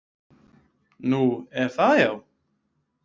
Nú, er það, já?